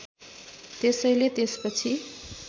त्यसैले त्यसपछि